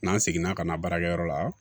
N'an seginna ka na baarakɛyɔrɔ la